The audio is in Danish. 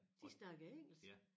De snakker engelsk